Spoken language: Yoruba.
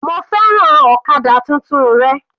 Mo fẹ́ràn ọ̀kadà tuntun rẹ.